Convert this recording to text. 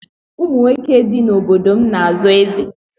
Ụmụnwoke dị n'obodo m na-azo eze